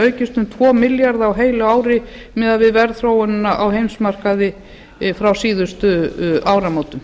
aukist um tvo milljarða króna á heilu ári miðað við verðþróunina á heimsmarkaði frá síðustu áramótum